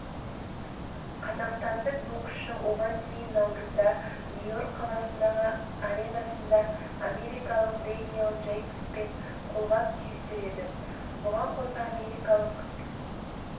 қазақстандық боксшы оған дейін наурызда нью-йорк қаласындағы аренасында америкалық дэниэль джейкбоспен қолғап түйістіреді бұған қоса америкалық